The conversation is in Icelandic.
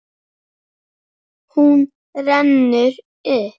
Hún rennur upp.